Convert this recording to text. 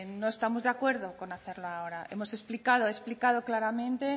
no estamos de acuerdo con hacerlo ahora hemos explicado he explicado claramente